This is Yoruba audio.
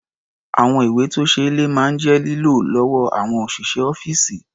Àwọn ìwé-tó-ṣeé-lẹ̀ máa ń jẹ́ lílò lọ́wọ́ àwọn òṣìṣẹ́ ọ́fíìsì.